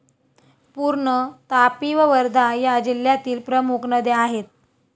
पूर्ण, तापी व वर्धा या जिल्ह्यातील प्रमुख नद्या आहेत.